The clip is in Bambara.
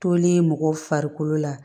Tolen mɔgɔw farikolo la